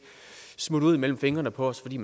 smutte ud mellem fingrene på os fordi